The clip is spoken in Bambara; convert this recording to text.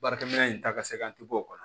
Baarakɛminɛn in ta ka se ka ti bɔ o kɔnɔ